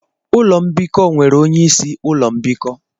Ụlọ mbikọ nwere onyeisi ụlọ mbikọ.